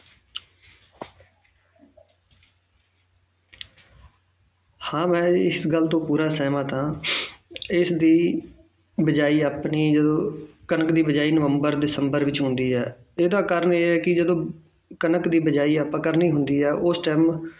ਹਾਂ ਮੈਂ ਇਸ ਗੱਲ ਤੋਂ ਪੂਰਾ ਸਹਿਮਤ ਹਾਂਂ ਇਸ ਦੀ ਬੀਜਾਈ ਆਪਣੀ ਅਹ ਕਣਕ ਦੀ ਬੀਜਾਈ ਨਵੰਬਰ ਦਸੰਬਰ ਵਿੱਚ ਹੁੰਦੀ ਹੈ ਇਹਦਾ ਕਾਰਨ ਇਹ ਹੈ ਕਿ ਜਦੋਂ ਕਣਕ ਦੀ ਬੀਜਾਈ ਆਪਾਂ ਕਰਨੀ ਹੁੰਦੀ ਹੈ ਉਸ time